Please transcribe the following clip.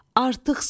Artıq savuş.